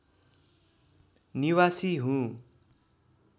निवासी हुँ